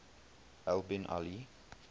al bin ali